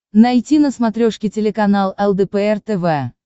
найти на смотрешке телеканал лдпр тв